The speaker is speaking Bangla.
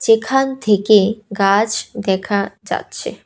যেখান থেকে গাছ দেখা যাচ্ছে।